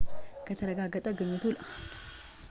ከተረጋገጠ ግኝቱ ለአሌን ለስምንት ዓመት የሙሳ ፍለጋን ያጠናቅቃል